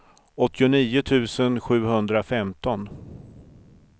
åttionio tusen sjuhundrafemton